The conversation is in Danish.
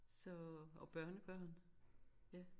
Så og børnebørn ja